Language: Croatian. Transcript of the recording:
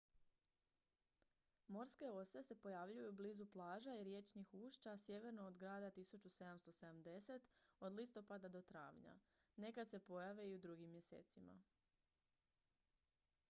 morske ose se pojavljuju blizu plaža i riječnih ušća sjeverno od grada 1770 od listopada do travnja nekad se pojave i u drugim mjesecima